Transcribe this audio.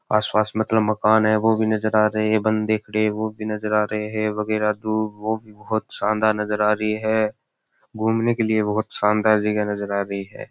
आसपास मतलब मकान है वो भी नजर आ रहे है बन्दे खड़े है वो भी नजर आ रहे है वगेरा वो बहुत शानदार नजर आ रही है घूमने के लिए बहुत शानदार जगह नज़र आ रही है।